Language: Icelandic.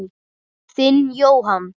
Þinn, Jóhann.